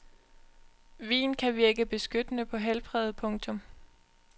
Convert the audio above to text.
Vin kan virke beskyttende på helbredet. punktum